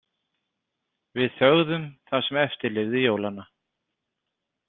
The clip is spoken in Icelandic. Við þögðum það sem eftir lifði jólanna.